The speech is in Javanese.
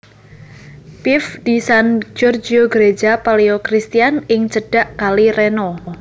Pieve di San Giorgio Greja Palaeo Christian ing cedhak Kali Reno